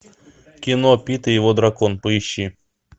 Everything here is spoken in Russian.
кино пит и его дракон поищи